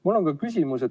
Mul on ka küsimus.